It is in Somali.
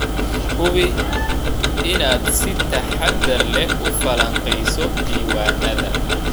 Hubi inaad si taxadar leh u falanqeyso diiwaanada.